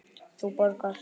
Þú borgar.